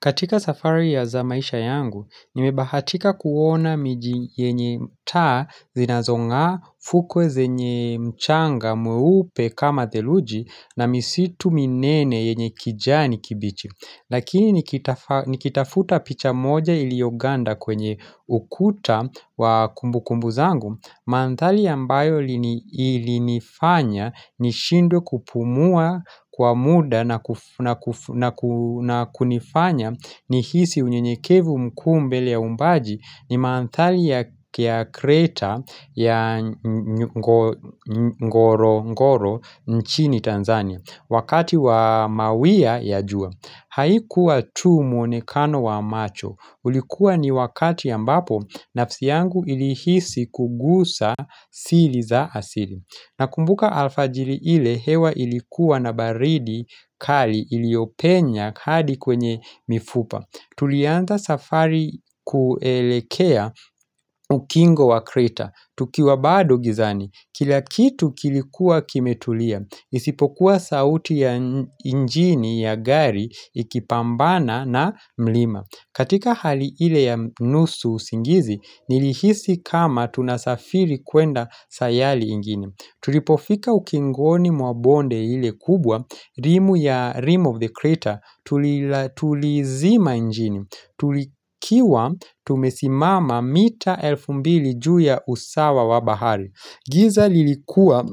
Katika safari ya za maisha yangu, nimebahatika kuona miji yenye taa zinazong'aa fukwe zenye mchanga mweupe kama theluji na misitu minene yenye kijani kibichi. Lakini nikitafuta picha moja iliyoganda kwenye ukuta wa kumbukumbu zangu Manthali ambayo ilinifanya nishindwe kupumua kwa muda na kunifanya ni hisi unyenyekevu mkuu mbele ya uumbaji ni manthali ya kreta ya ngorongoro nchini Tanzania Wakati wa mawia ya jua Haikuwa tu mwonekano wa macho. Ulikuwa ni wakati ambapo nafsi yangu ilihisi kugusa sili za asili. Nakumbuka alfajili ile hewa ilikuwa na baridi kali iliyopenya hadi kwenye mifupa. Tulianza safari kuelekea ukingo wa kreta. Tukiwa bado gizani. Kila kitu kilikuwa kimetulia. Isipokuwa sauti ya injini ya gari ikipambana na mlima. Katika hali ile ya nusu usingizi, nilihisi kama tunasafiri kwenda sayali ingine. Tulipofika ukingoni mwa bonde ile kubwa, rimu ya rim of the crater, tulizima injini, tulikiwa tumesimama mita elfu mbili juu ya usawa wa bahari giza lilikuwa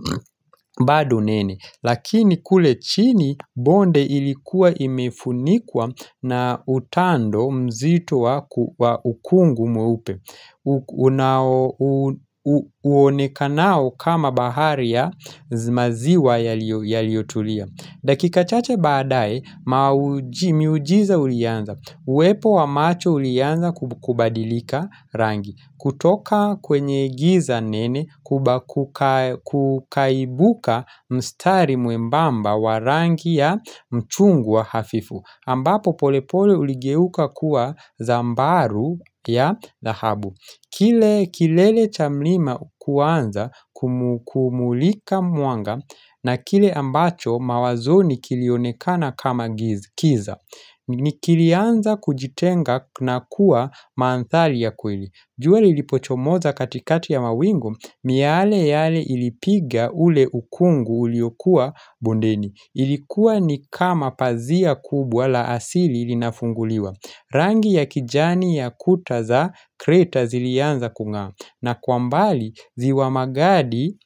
badu nene, lakini kule chini bonde ilikuwa imefunikwa na utando mzito wa ukungu mweupe Uonekanao kama bahari ya zi maziwa yaliyotulia dakika chache baadaye miujiza ulianza Uwepo wa macho urianza kubadilika rangi kutoka kwenye giza nene kukaibuka mstari mwembamba wa rangi ya mchungwa hafifu ambapo polepole uligeuka kuwa zambaru ya dhahabu kilele cha mlima kuanza kumulika mwanga na kile ambacho mawazoni kilionekana kama giza Nikilianza kujitenga na kuwa manthali ya kweli jua lilipochomoza katikati ya mawingu miale yale ilipiga ule ukungu uliokua bondeni Ilikuwa ni kama pazia kubwa la asili linafunguliwa Rangi ya kijani ya kuta za kreta zilianza kung'aa na kwa mbali ziwa magadi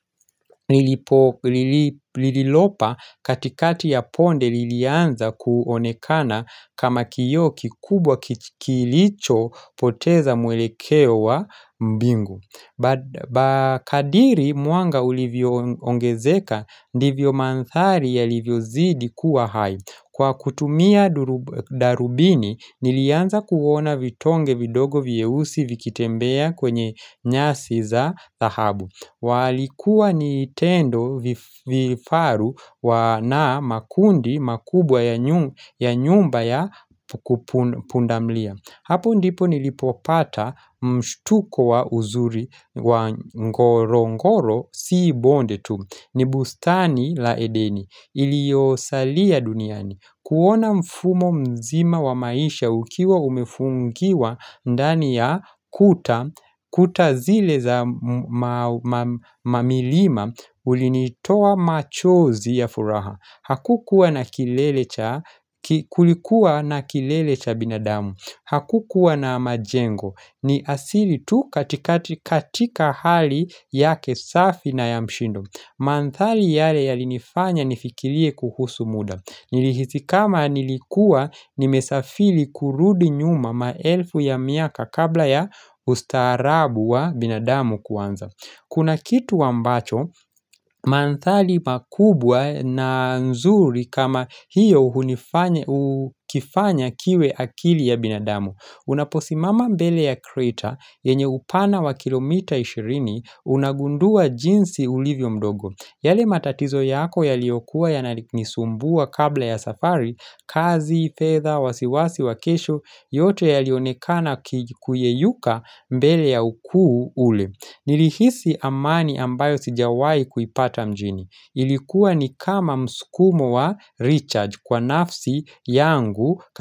lililopa katikati ya ponde lilianza kuonekana kama kioo kikubwa kilichopoteza mwelekeo wa mbingu Ba kadiri mwanga ulivyoongezeka ndivyo manthari yalivyozidi kuwa hai Kwa kutumia darubini nilianza kuona vitonge vidogo viehusi vikitembea kwenye nyasi za dhahabu walikuwa ni tendo vifaru na makundi makubwa ya nyumba ya pundamlia Hapo ndipo nilipopata mshtuko wa uzuri wa ngorongoro si bonde tu. Ni bustani la edeni. Iliosalia duniani. Kuona mfumo mzima wa maisha ukiwa umefungiwa ndani ya kuta. Kuta zile za mamilima ulinitoa machozi ya furaha. Hakukuwa na kilele cha binadamu. Hakukuwa na majengo. Ni asili tu katika hali yake safi na ya mshindo. Manthali yale yalinifanya nifikilie kuhusu muda. Nilihisi kama nilikua nimesafili kurudi nyuma maelfu ya miaka kabla ya ustaarabu wa binadamu kuanza. Kuna kitu ambacho, manthali makubwa na nzuri kama hiyo ukifanya kiwe akili ya binadamu. Unaposimama mbele ya kreta, yenye upana wa kilomita ishirini, unagundua jinsi ulivyo mdogo. Yale matatizo yako yaliyokuwa yananisumbua kabla ya safari, kazi, fedha wasiwasi, wa kesho, yote yalionekana kuyeyuka mbele ya ukuu ule. Nilihisi amani ambayo sijawai kuipata mjini. Ilikuwa ni kama mskumo wa Rechar kwa nafsi yangu.